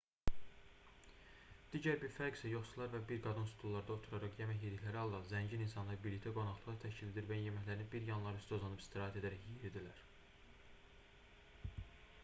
digər bir fərq isə yoxsullar və bir qadın stullarda oturaraq yemək yedikləri halda zəngin insanlar birlikdə qonaqlıqlar təşkil edir və yeməklərini bir yanları üstə uzanıb istirahət edərək yeyirdilər